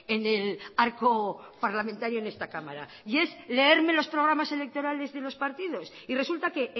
en el arco parlamentario en esta cámara y es leerme los programas electorales de los partidos y resulta que